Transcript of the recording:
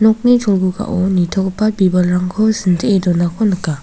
nokni cholgugao nitogipa bibalrangko sintee donako nika.